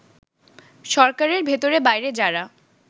সরকারের ভেতরে-বাইরে যারা